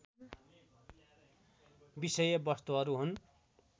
विषय वस्तुहरू हुन्